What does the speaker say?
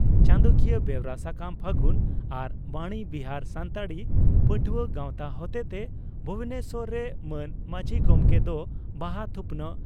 ᱪᱟᱸᱫᱚᱠᱤᱭᱟᱹ ᱵᱮᱣᱨᱟ ᱥᱟᱠᱟᱢ ᱯᱷᱟᱹᱜᱩᱱ ᱟᱨ ᱵᱟᱬᱤ ᱵᱤᱦᱟᱨ ᱥᱟᱱᱛᱟᱲᱤ ᱯᱟᱹᱴᱷᱩᱣᱟᱹ ᱜᱟᱣᱛᱟ ᱦᱚᱛᱮᱛᱮ ᱵᱷᱩᱵᱚᱱᱮᱥᱚᱨ ᱨᱮ ᱢᱟᱹᱱ ᱢᱟᱹᱡᱷᱤ ᱜᱚᱢᱠᱮ ᱫᱚ ᱵᱟᱦᱟ ᱛᱷᱩᱯᱱᱟᱜ